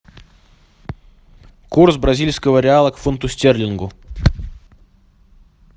курс бразильского реала к фунту стерлингу